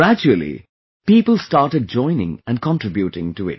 Gradually, people started joining and contributing to it